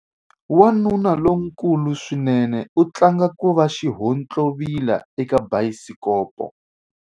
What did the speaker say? Wanuna lonkulu swinene u tlanga ku va xihontlovila eka bayisikopo.